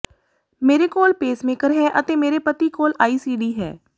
ਮੇਰੇ ਕੋਲ ਪੇਸਮੇਕਰ ਹੈ ਅਤੇ ਮੇਰੇ ਪਤੀ ਕੋਲ ਆਈਸੀਡੀ ਹੈ